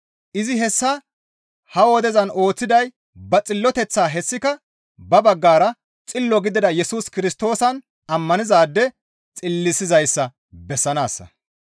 Izi hessa ha wodezan ooththiday ba xilloteththaa; hessika ba baggara xillo gidida Yesus Kirstoosan ammanizaade xillisizayssa bessanaassa.